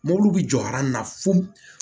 Mobiliw bɛ jɔ na fo